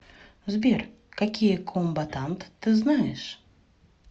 сбер какие комбатант ты знаешь